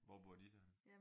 Hvor bor de så henne?